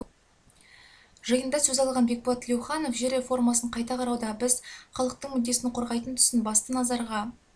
жиында сөз алған бекболат тілеуханов жер реформасын қайта қарауда біз халықтың мүддесін қорғайтын тұсын басты назарға